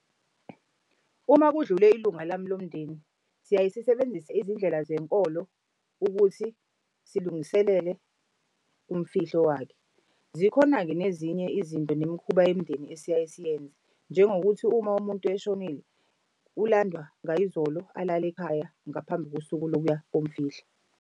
Uma kudlule ilunga lami lomndeni, siyaye sisebenzise izindlela zenkolo ukuthi silungiselele umfihlo wakhe zakho. Zikhona-ke nezinye izinto nemikhuba yemindeni esiyaye siyenze. Njengokuthi uma umuntu eshonile ulandwa ngayizolo alale ekhaya ngaphambi kosuku lokuya komfihla.